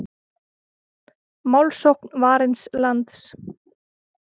Málsókn Varins lands